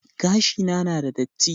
Gashina na da datti